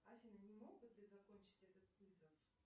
афина не мог бы ты закончить этот вызов